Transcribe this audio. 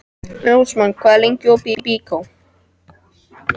Rósmann, hvað er lengi opið í Byko?